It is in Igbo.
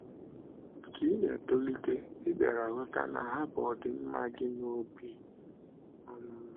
Ka ị na - etolite, ị bịara ghọta na ha bu ọdịmma gị n’obi um.